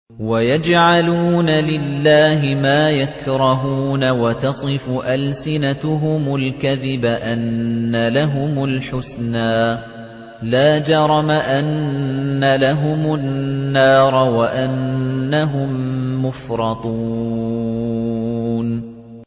وَيَجْعَلُونَ لِلَّهِ مَا يَكْرَهُونَ وَتَصِفُ أَلْسِنَتُهُمُ الْكَذِبَ أَنَّ لَهُمُ الْحُسْنَىٰ ۖ لَا جَرَمَ أَنَّ لَهُمُ النَّارَ وَأَنَّهُم مُّفْرَطُونَ